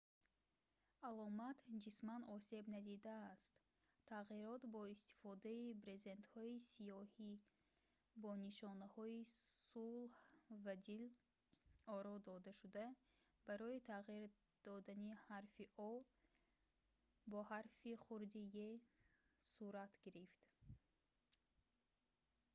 аломат ҷисман осеб надидааст тағйирот бо истифодаи брезентҳои сиёҳи бо нишонаҳои сулҳ ва дил оро додашуда барои тағйир додани ҳарфи o бо ҳарфи хурди e сурат гирифт